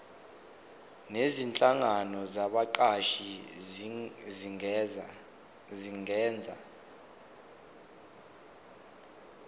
nezinhlangano zabaqashi zingenza